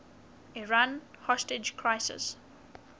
iran hostage crisis